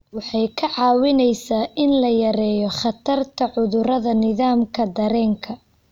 Waxay kaa caawinaysaa in la yareeyo khatarta cudurrada nidaamka dareenka.